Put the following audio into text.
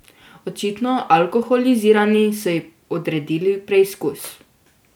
Očitno alkoholizirani so ji odredili preizkus.